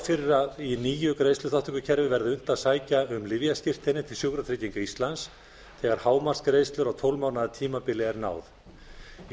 fyrir að í nýju greiðsluþátttökukerfi verði unnt að sækja um lyfjaskírteini til sjúkratrygginga íslands þegar hámark greiðslu á tólf mánaða tímabili er náð í